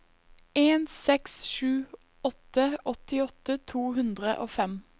en seks sju åtte åttiåtte to hundre og fem